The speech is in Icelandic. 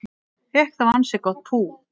Fékk þá ansi gott pú